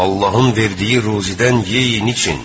Allahın verdiyi ruzidən yeyin için.